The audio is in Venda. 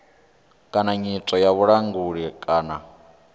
kana nyito ya vhulanguli kana